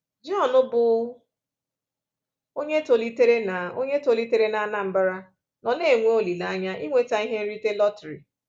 John, bụ́ onye tolitere na onye tolitere na Anambra, nọ na-enwe olileanya inweta ihe nrite lọtrị.